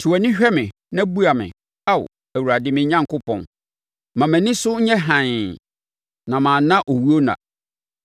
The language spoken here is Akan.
Te wʼani hwɛ me na bua me, Ao, Awurade, me Onyankopɔn. Ma mʼani so nyɛ hann, na manna owuo nna.